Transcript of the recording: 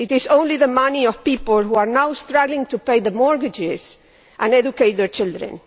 It is only the money of people who are now struggling to pay their mortgages and educate their children.